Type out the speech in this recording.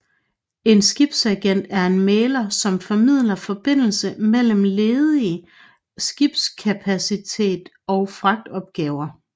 En skibsagent er en mægler som formidler forbindelse mellem ledig skibskapacitet og fragtopgaver